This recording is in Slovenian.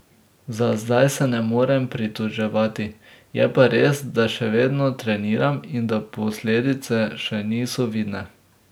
Za zdaj se ne morem pritoževati, je pa res, da še vedno treniram in da posledice še niso vidne.